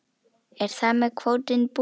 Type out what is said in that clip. Er þar með kvótinn búinn?